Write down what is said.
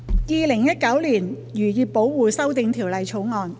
《2019年漁業保護條例草案》。